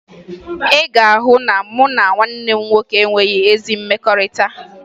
Ị ga-ahụ na mụ na nwanne m nwoke enweghi ezi mmekọrịta